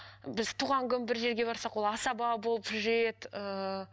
біз туған күн бір жерге барсақ ол асаба болып жүреді ыыы